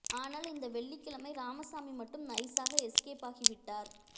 ஆனால் இந்த வெள்ளிக்கிழமை ராமசாமி மட்டும் நைசாக எஸ்கேப் ஆகி விட்டார்